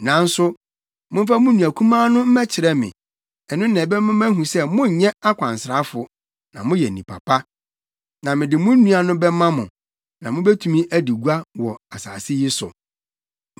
Nanso momfa mo nua kumaa no mmɛkyerɛ me. Ɛno na ɛbɛma mahu sɛ monyɛ akwansrafo na moyɛ nnipa pa. Na mede mo nua no bɛma mo, na mubetumi adi gua wɔ asase yi so.’ ”